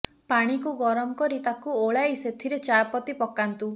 ପାଣିକୁ ଗରମ କରି ତାକୁ ଓଲାଇ ସେଥିରେ ଚା ପତି ପକାନ୍ତୁ